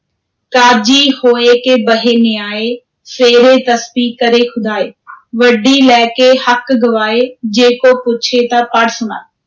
ਕਾਜੀ ਹੋਇ ਕੈ ਬਹੈ ਨਿਆਇ, ਫੇਰੇ ਤਸਬੀ ਕਰੇ ਖੁਦਾਇ ਵਢੀ ਲੈ ਕੇ ਹਕੁ ਗਵਾਏ, ਜੇ ਕੋ ਪੁਛੈ ਤਾ ਪੜਿ ਸੁਣਾਏ।